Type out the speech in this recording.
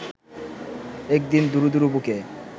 একদিন দুরু দুরু বুকে